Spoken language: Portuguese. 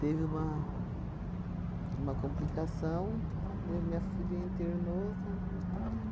Teve uma uma complicação, né, minha filha internou. Quando viu